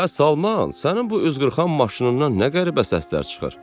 "Ə Salman, sənin bu üzqırxan maşınından nə qəribə səslər çıxır?"